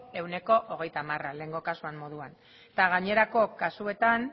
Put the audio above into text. ehuneko hogeita hamara lehengo kasuan moduan eta gainerako kasuetan